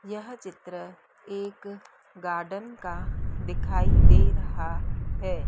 यह चित्र एक गार्डन का दिखाई दे रहा है।